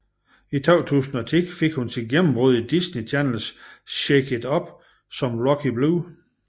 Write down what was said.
I 2010 fik hun sit gennembrud i Disney Channels Shake It Up som Rocky Blue